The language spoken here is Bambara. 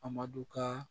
Amadu kaa